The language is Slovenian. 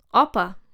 Opa!